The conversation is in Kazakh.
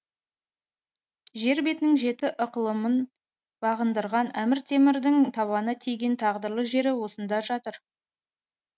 жер бетінің жеті ықылымын бағындырған әмір темірдің табаны тиген тағдырлы жері осында жатыр